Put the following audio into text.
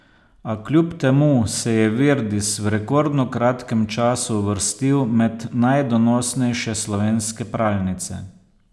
A kljub temu se je Virdis v rekordno kratkem času uvrstil med najdonosnejše slovenske pralnice.